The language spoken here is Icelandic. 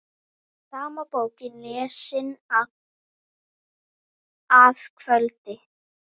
Sama bókin lesin að kvöldi.